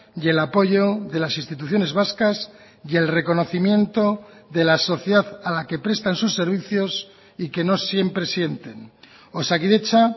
y el apoyo de las instituciones vascas y el reconocimiento de la sociedad a la que prestan sus servicios y que no siempre sienten osakidetza